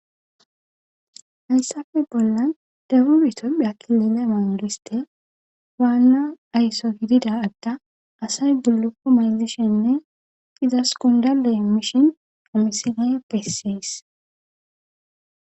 hayssafe bollan dabur itopphe akkilele maunudiste waanna aysso gidida adda asay guloku maydishenne izas kondale emishin qomisinaye pessees